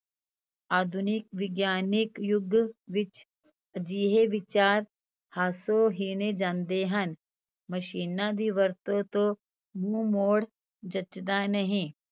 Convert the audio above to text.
ਆਧੁਨਿਕ ਵਿਗਿਆਨਕ ਯੁੱਗ ਵਿੱਚ ਅਜਿਹੇ ਵਿਚਾਰ ਹਾਸੋ ਹੀਣੇ ਜਾਂਦੇ ਹਨ, ਮਸ਼ੀਨਾਂ ਦੀ ਵਰਤੋਂ ਤੋਂ ਮੂੰਹ ਮੋੜ ਜਚਦਾ ਨਹੀਂ।